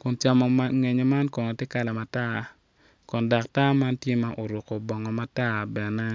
ka nget yat moma otwi atiya i dye pii man.